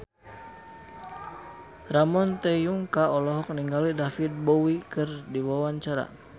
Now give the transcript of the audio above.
Ramon T. Yungka olohok ningali David Bowie keur diwawancara